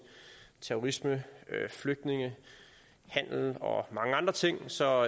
terrorisme flygtninge handel og mange andre ting så